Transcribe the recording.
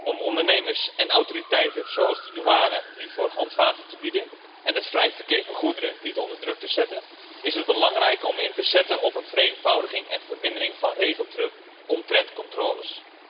Om ondernemers en autoriteiten zoals de douane hiervoor handvaten te bieden en het vrije verkeer van goederen niet onder druk te zetten, is het belangrijk om in te zetten op een vereenvoudiging en vermindering van regeldruk omtrent controles.